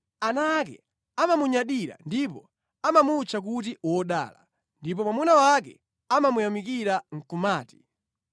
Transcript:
Ana ake amamunyadira ndipo amamutcha kuti wodala; ndipo mwamuna wake, amamuyamikira nʼkumati,